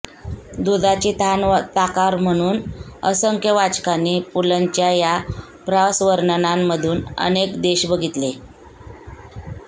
दुधाची तहान ताकावर म्हणून असंख्य वाचकांनी पुलंच्या या प्रवासवर्णनांमधून अनेक देश बघितले